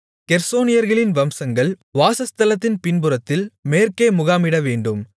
கெர்சோனியர்களின் வம்சங்கள் வாசஸ்தலத்தின் பின்புறத்தில் மேற்கே முகாமிடவேண்டும்